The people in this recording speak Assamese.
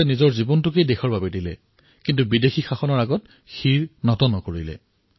আজাদে নিজৰ জীৱন বলিদান দিছিল কিন্তু বিদেশী শাসনৰ অধীনলৈ অহা নাছিল